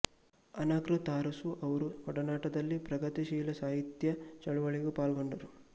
ಅನಕೃ ತರಾಸು ಅವರ ಒಡನಾಟದಲ್ಲಿ ಪ್ರಗತಿಶೀಲ ಸಾಹಿತ್ಯ ಚಳುವಳಿಗೂ ಪಾಲ್ಗೊಂಡರು